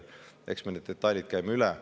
Eks me käime enne veel need detailid üle.